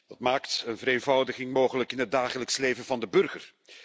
Het maakt een vereenvoudiging mogelijk in het dagelijks leven van de burger.